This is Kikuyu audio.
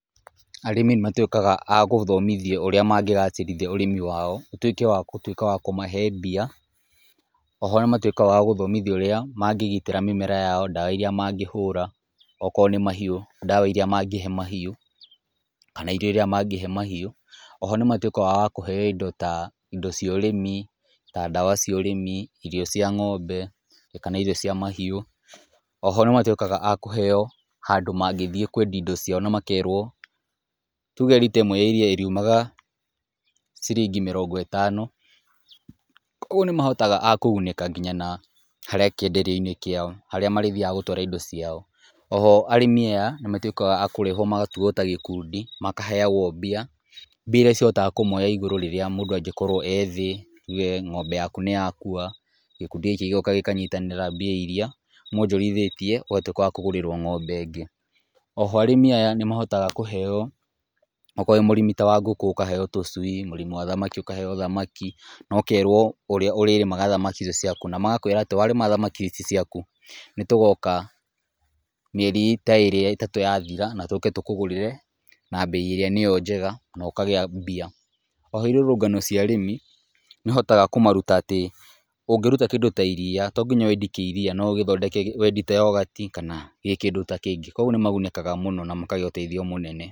Arĩmi nĩ matwĩkaga agũthomithio ũrĩa mangĩgacĩrithia ũrĩmi wao, ũtwĩke wa gũtwĩka kũmahe mbia , oho nĩ matwĩkaga agũthomithio ũrĩa mangĩgitĩra mĩmera yao, ndawa iria mangĩhũra , okorwo nĩ mahiũ ndawa iria mangĩhe mahiũ, kana irio iria mangĩhe mahiũ, oho nĩmatwĩkaga akũheo indo ta , indo cia ũrĩmi ta ndawa cia ũrĩmi, ndawa cia ng´ombe kana irio cia mahiũ, oho nĩmatwĩkaga akũheo handũ mangĩthiĩ kwendia indo ciao, na makerwo tuge rita ya iria ĩrĩumaga ciringi mĩrongo ĩtano, ũgwo nĩ mahotaga akũgunĩka nginya na harĩa kĩenderio-inĩ kĩao harĩa marĩthiaga gũtwara indo ciao, oho arĩmi nĩmatwĩkaga akũrehwo magatuo ta gĩkundi makaheagwo mbia, mbia iria cihotaga kũmoya igũrũ rĩrĩa mũndũ angĩkorwo e thĩ , tuge ng´ombe yaku nĩ yakua, gĩkundi gĩkĩ gĩgoka gĩkanyitanĩra mbia iria mwonjorithĩtie ũgatwĩka wa kũgũrĩrwo ng´ombe ĩngĩ, oho arĩmi nĩ mahotaga kũheo , okorwo wĩ mũrĩmi wa ngũkũ ũkaheo tũcui , mũrĩmi wa thamaki ũkaheo thamaki na ũkerwo ũrĩa ũrĩrĩmaga thamaki icio ciaku , na magakwĩra atĩ warĩma thamaki ici ciaku nĩ tũgoka mieri ta ĩrĩ ĩtatũ yathira na tũke tũkũgũrĩre na mbei ĩrĩa njega na ũkagĩa mbia , oho irũrũngano cia arĩmi nĩ ũhotaga kũmaruta atĩ, ũngĩruta kĩndũ ta iria to nginya wendie kĩ iria, no ũthondeke wendie ya yogati kana kĩndũ ta kĩngĩ, kũgwo nĩ magunĩkaga mũno na makagĩa ũteithio mũnene.